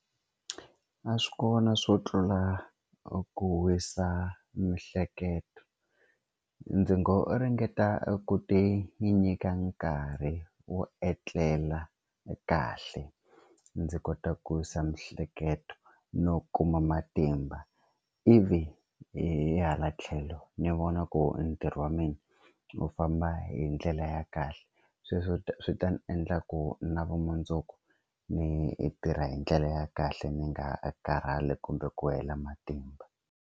A swi kona swo tlula ku wisa mihleketo ndzi ngo ringeta ku ti nyika nkarhi wo etlela kahle ndzi kota ku wisisa miehleketo no kuma matimba ivi hi hala tlhelo ndzi vona ku ntirho wa mina wu famba hi ndlela ya kahle sweswo swi ta ni endla ku na vumundzuku ni tirha hi ndlela ya kahle ni nga karhali kumbe ku hela matimba.